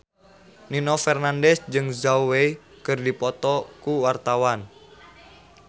Nino Fernandez jeung Zhao Wei keur dipoto ku wartawan